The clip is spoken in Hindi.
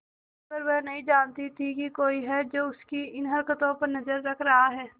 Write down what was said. मगर वह नहीं जानती थी कोई है जो उसकी इन हरकतों पर नजर रख रहा है